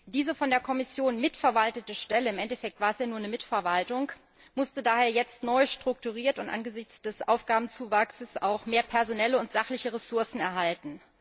Diese von der Kommission mitverwaltete Stelle im Endeffekt war es ja nur eine Mitverwaltung musste daher jetzt neu strukturiert werden und angesichts des Aufgabenzuwachses auch mehr personelle und sachliche Ressourcen erhalten.